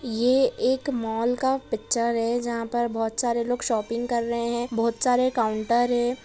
ये एक मॉल का पिक्चर है जहाँ पर बहुत सारे लोग शॉपिंग कर रहे है बहुत सारे काउंटर है।